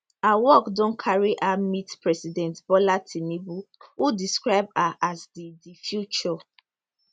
her work don carry her meet president bola tinubu who describe her as di di future